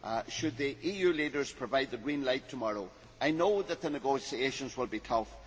Should the EU leaders provide the green light tomorrow, I know that the negotiations will be tough.